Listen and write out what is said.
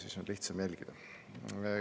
Siis on lihtsam jälgida.